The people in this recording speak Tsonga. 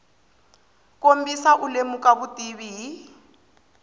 kombisa u lemuka vutivi hi